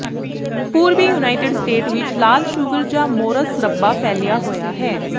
ਪੂਰਬੀ United State ਵਿਚ ਲਾਲ ਸ਼ੂਗਰ ਜਾਂ ਮੌਰਸ ਰੱਬਾ ਫੈਲਿਆ ਹੋਇਆ ਹੈ